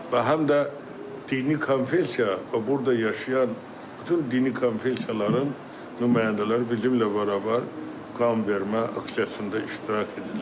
Və həm də dini konfessiya və burda yaşayan bütün dini konfessiyaların nümayəndələri bizimnən bərabər qanvermə aksiyasında iştirak edirlər.